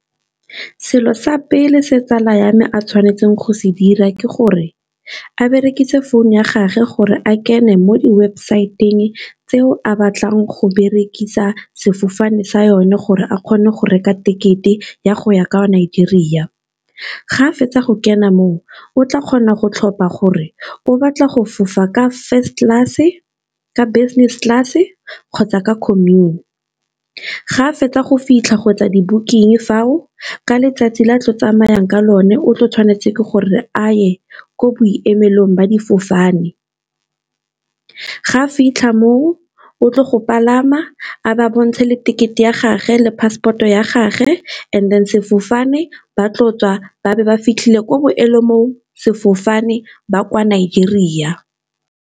Selo sa pele se tsala ya me a tshwanetseng go se dira ke gore, a berekise phone ya gagwe gore a kene mo di-website-ng tseo a, batlang go berekisa sefofane sa yone gore a kgone go reka tekete ya go ya kwa Nigeria. Ga a fetsa go kena moo, o tla kgona go tlhopha gore o batla go fofa ka first class, ka business class, kgotsa ka commune. Ga a fetsa go fitlha go e tsa di-booking fa o, ka letsatsi la a tlo tsamayang ka lone, o tlo tshwanetse ke gore a ye kwa boemelong ba difofane. Ga a fitlha moo o tlo go palama a ba bontshe le tekete ya gage le passport o ya gage, and then sefofane ba tlo tswa ba be ba fitlhele ko boemolong sefofane ba kwa Nigeria.